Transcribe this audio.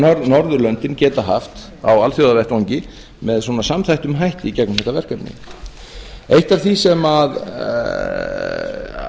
norðurlöndin geta haft á alþjóðavettvangi með svona samþættum hætti í gegnum þetta verkefni eitt af því sem